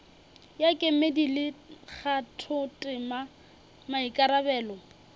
ya kemedi le kgathotema maikarabelo